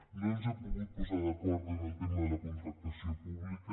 no ens hem pogut posar d’acord amb el tema de la contractació pública